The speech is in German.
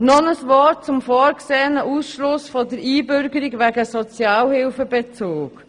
Noch ein Wort zum vorgesehenen Ausschluss von der Einbürgerung wegen Sozialhilfebezugs.